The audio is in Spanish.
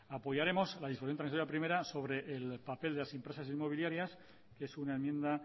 apoyaremos la disposición transitoria primera sobre el papel de las empresas inmobiliarias que es una enmienda